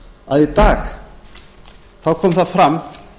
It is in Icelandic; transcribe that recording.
að í dag kom það fram